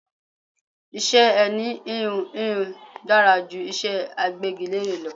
Iṣẹ́ ẹni íhùn íhùn dára ju iṣé agbégilére lọ.